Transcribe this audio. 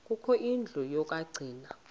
khona indlu yokagcina